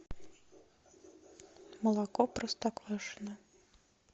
молоко простоквашино